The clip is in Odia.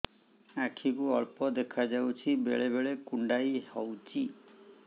ଆଖି କୁ ଅଳ୍ପ ଦେଖା ଯାଉଛି ବେଳେ ବେଳେ କୁଣ୍ଡାଇ ହଉଛି